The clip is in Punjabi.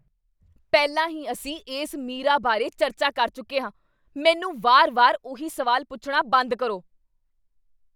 ਪਹਿਲਾਂ ਹੀ ਅਸੀਂ ਇਸ ਮੀਰਾ ਬਾਰੇ ਚਰਚਾ ਕਰ ਚੁੱਕੇ ਹਾਂ! ਮੈਨੂੰ ਵਾਰ ਵਾਰ ਉਹੀ ਸਵਾਲ ਪੁੱਛਣਾ ਬੰਦ ਕਰੋ